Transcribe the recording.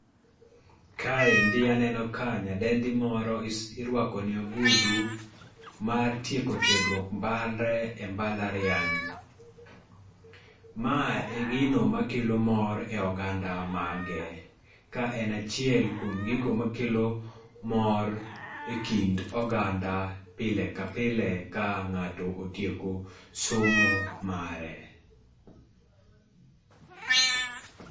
Kaendi aneno ka nyadendi moro irwako ne ogudu, mar tieko tiegruok mare e mbalariany ma e gino ma kelo mor e oganda mage. Ka en achiel kuom gigo makelo mor, e kind oganda pile kapile ka ng'ato otieko, somo mare